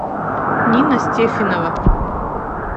нина стефинова